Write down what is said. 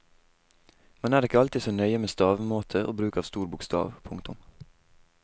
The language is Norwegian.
Man er ikke alltid så nøye med stavemåte og bruk av stor bokstav. punktum